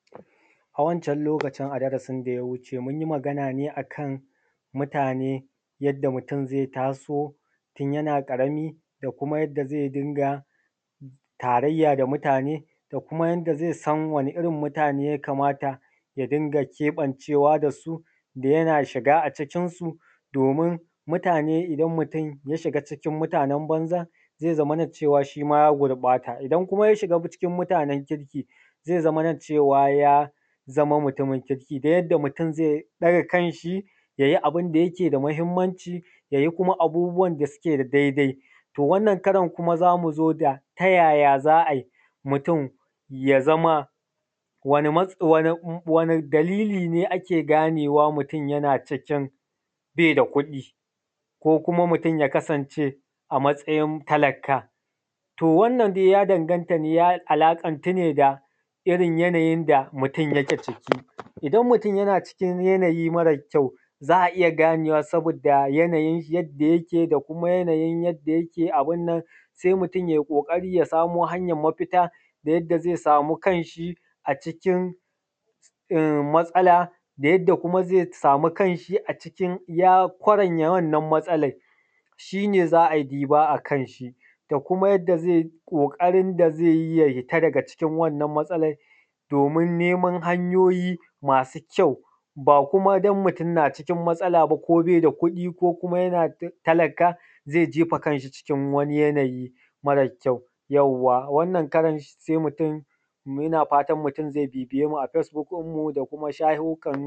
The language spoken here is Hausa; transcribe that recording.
A wancan lokacin a darasin da ya wuce, mun yi magana ne a kan mutane yadda mutum ze taso tun yana ƙarami da kuma yadda mutum ze dinga tarayya da muatane da kuma yadda ze san da wasu irin mutane ne yakamata ya dinga keɓancewa dasu. Da yana shiga a cikin su domin mutane idan mutum ya shiga cikin mutanen banza ze zamana cewa shi ma ya gurɓata, idan kuma ya shiga cikin mutanen kirki ze zaman cewa ya zama mutumin kirki ta yadda mutum ze ɗara kanshi ya yi abun da yake da mahinmanci, ya yi kuma abubuwan da suke na daidai. To, wanna karan za mu ga tayaya za a yi mutum ya zama wani dalili ne ake ganewa mutum yana cikin be da kuɗi ko kuma mutum ya kasance a matsayin talaka? To, wannan dai ya danganta ya alaƙan ku ne da irin yanayin da mutum yake ciki, idan mutum yana cikin yanayi mara kyau za a iya ganewa sabida yanayin yadda yake da kuma yanayin yadda yake abin. Se mutum ya yi ƙoƙari ya samo hanyan mafita ta yadda ze sau kan shi a ciki matsala da yadda ze samu kan shi a cikin ya fara yin wannan matsalan shi ne za a ɗiba a kanshi da kuma yadda ze yi ƙoƙarin yadda ze yi ya fita daga wannan matsalar domin neman hanyoyi masu kyau. Ba kuma don mutum na cikin matsala ba ko be da kuɗi ko yana jin talaka ze jefa kan shi cikin wani yanayi mara kyau. Yauwa wannan karan se mutum yana fatan ze bibiya matan da kuma shafukan facebuk.